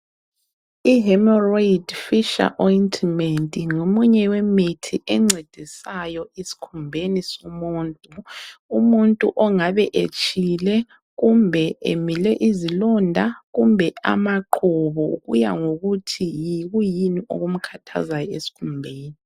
IHemorrhoid fissure ointment ngomunye wemithi encedisayo esikhumbeni somuntu . Umuntu ongabe etshile kumbe emile izilonda kumbe amaqhubu kuya ngokuthi yikuyini okumkhathazayo esikhumbeni.